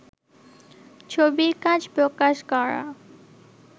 ছবির কাজ প্রকাশ করা